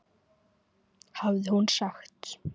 hafði hún sagt.